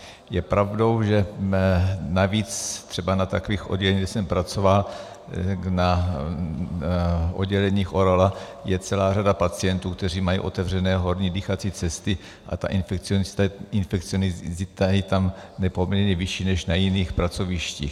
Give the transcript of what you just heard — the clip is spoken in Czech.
Je pravdou, že navíc třeba na takových odděleních, kde jsem pracoval, na odděleních ORL, je celá řada pacientů, kteří mají otevřené horní dýchací cesty a ta infekciozita je tam nepoměrně vyšší než na jiných pracovištích.